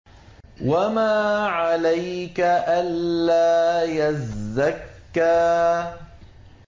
وَمَا عَلَيْكَ أَلَّا يَزَّكَّىٰ